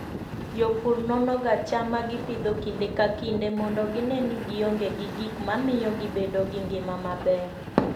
Jopur nonoga cham ma gipidho kinde ka kinde mondo gine ni gionge gi gik mamiyo gibedo gi ngima maber.